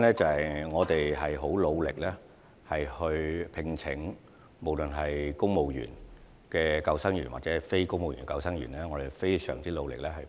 因為，不論是聘請公務員救生員或非公務員救生員，我們也很努力。